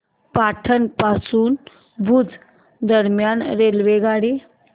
पाटण पासून भुज दरम्यान रेल्वेगाडी